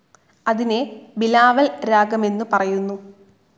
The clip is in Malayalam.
അതിനെ ബിലാവൽ രാഗമെന്നു പറയുന്നു.